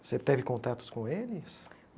Você teve contatos com eles?